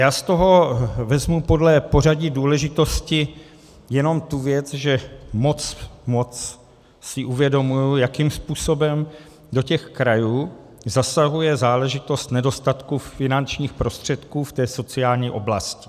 Já z toho vezmu podle pořadí důležitosti jenom tu věc, že si moc uvědomuji, jakým způsobem do těch krajů zasahuje záležitost nedostatku finančních prostředků v té sociální oblasti.